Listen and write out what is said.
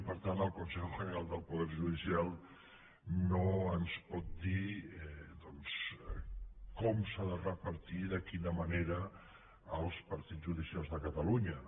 i per tant el consejo general del poder judicial no ens pot dir com s’han de repartir de quina manera els partits judicials de catalunya